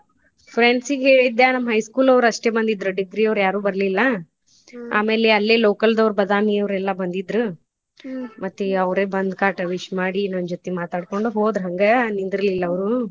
Friends ಗೆ ಹೇಳಿದ್ದೆ ನಮ್ಮ high school ಅವರ್ ಅಷ್ಟೇ ಬಂದಿದ್ರ degree ಅವ್ರ ಯಾರು ಬರ್ಲಿಲ್ಲ ಆಮೇಲೆ ಅಲ್ಲೆ local ದವರ ಬಾದಾಮಿಯವರೆಲ್ಲಾ ಬಂದಿದ್ರ್ ಮತ್ತೆ ಅವರ ಬಂದ್ ಕಾಟಿ wish ಮಾಡಿ ನನ್ಜೊತೆ ಮಾತಾಡಕೊಂಡ್ ಹೋದ್ರ ಹಂಗ ನಿಂದರ್ಲಿಲ್ಲ ಅವ್ರು.